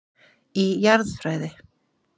Í Jarðfræði.